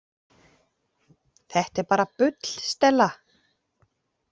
Þetta er bara bull, Stella.